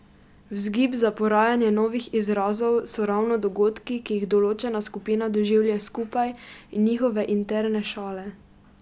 Vzgib za porajanje novih izrazov so ravno dogodki, ki jih določena skupina doživlja skupaj, in njihove interne šale.